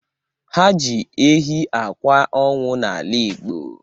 Ha ji ehi akwa ọnwụ n'ala Igbo.